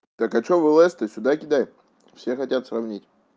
так а что вылезь то сюда кидай все хотят сравнить